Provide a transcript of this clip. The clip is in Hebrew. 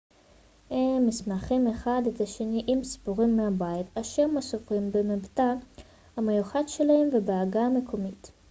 הם משמחים אחד את השני עם סיפורים מהבית אשר מסופרים במבטא המיוחד שלהם ובעגה המקומית